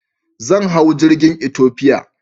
Zan hau jirgin Ethiopia.